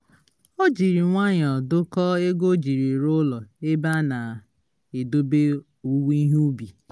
o jiri nwayọ dokọọ ego o jiri rụọ ụlọ ebe a na-edobe owuwe ihe ubi